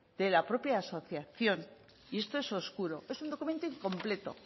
de la propia asociación y esto es oscuro es un documento incompleto